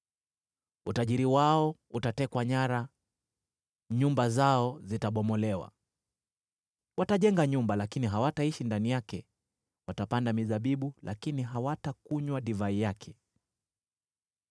Utajiri wao utatekwa nyara, nyumba zao zitabomolewa. Watajenga nyumba, lakini hawataishi ndani yake; watapanda mizabibu lakini hawatakunywa divai yake.